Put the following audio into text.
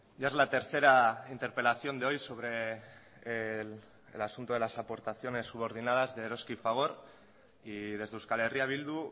ya es la tercera interpelación de hoy sobre el asunto de las aportaciones subordinadas de eroski y fagor y desde euskal herria bildu